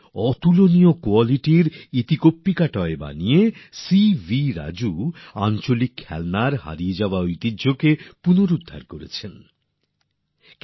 উন্নততর গুনমানের এতিকম্পকা টয় তৈরী করে সিবি রাজু স্থানীয় খেলনার হারানো গৌরবকে ফের উদ্ধার করতে সক্ষম হয়েছেন